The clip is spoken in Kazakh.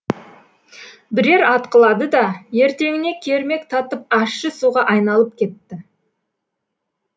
бірер атқылады да ертеңіне кермек татып ащы суға айналып кетті